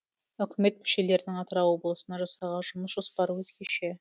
үкімет мүшелерінің атырау облысына жасаған жұмыс жоспары өзгеше